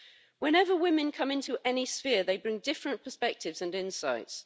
Whenever women come into any sphere, they bring different perspectives and insights.